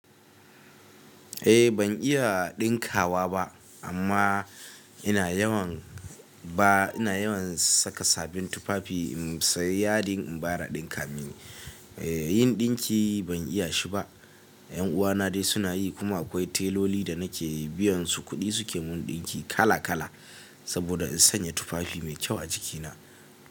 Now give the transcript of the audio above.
Eh ban iya ɗinkawa ba amma ina yawan ba ina yawan saka sabin tufafi in sayi yadin in bayar a ɗinka mini. Eh yin ɗinki ban iya shi ba. Ƴan uwana dai suna yi kuma akwai tailoli da nake biyansu kuɗi suke mun ɗinki kala-kala. Saboda in sanya tufafi me kyau a jikina.